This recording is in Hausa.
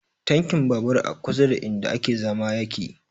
Tankin babur a kusa da inda ake zama yake